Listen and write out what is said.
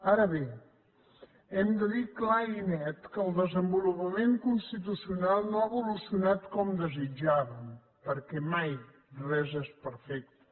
ara bé hem de dir clar i net que el desenvolupament constitucional no ha evolucionat com desitjàvem perquè mai res és perfecte